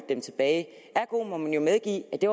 dem tilbage ergo må man medgive at det